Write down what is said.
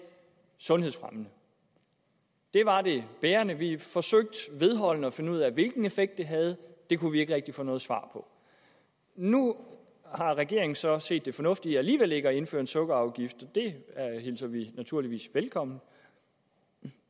sundhedsfremmende det var det bærende vi forsøgte vedholdende at finde ud af hvilken effekt det havde det kunne vi ikke rigtig få noget svar på nu har regeringen så set det fornuftige i alligevel ikke at indføre en sukkerafgift det hilser vi naturligvis velkommen